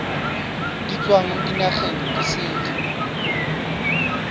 di tswang dinageng di sele